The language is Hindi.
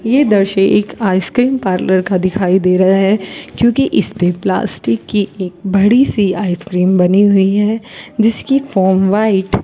ये दृश्य एक आइसक्रीम पार्लर का दिखाई दे रहा है क्योंकि इस पे प्लास्टिक की एक बड़ी सी आइसक्रीम बनी हुई है जिसकी फार्म व्हाइट --